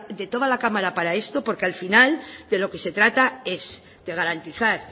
detoda la cámara para esto porque al final de lo que se trata es de garantizar